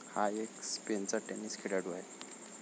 हा एक स्पेनचा टेनिस खेळाडू आहे.